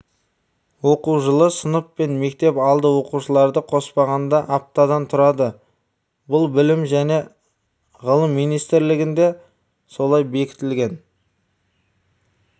оқу жылы сынып пен мектеп алды оқушыларды қоспағанда аптадан тұрады бұл білім жне ғылымминистрлігінде солай бекітілген